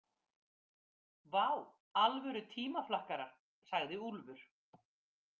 Vá, alvöru tímaflakkarar, sagði Úlfur.